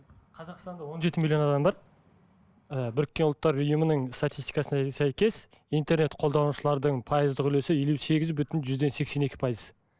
қазақстанда он жеті миллион адам бар і біріккен ұлттар ұйымының статистикасына сәйкес интернет қолданушылардың пайыздық үлесі елу сегіз бүтін жүзден сексен екі пайыз